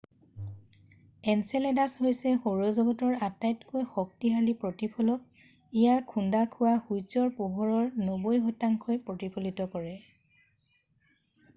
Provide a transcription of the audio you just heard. Enceladus হৈছে সৌৰ জগতৰ আটাইতকৈ শক্তিশালী প্ৰতিফলক ইয়াত খুন্দা খোৱা সূৰ্যৰ পোহৰৰ 90শতাংশ ই প্ৰতিফলিত কৰে